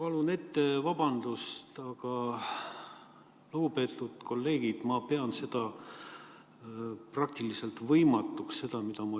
Ma palun ette vabandust, aga, lugupeetud kolleegid, ma pean seda, mida ma siin kuulen, praktiliselt võimatuks.